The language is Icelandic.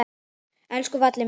Elsku Valli minn.